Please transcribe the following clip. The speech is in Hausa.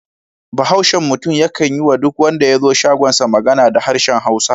Bahaushen mutum yakan yi wa duk wanda ya zo shagonsa magana da harshen Hausa.